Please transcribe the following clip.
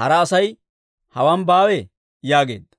hara Asay hawaan baawee?» yaageedda.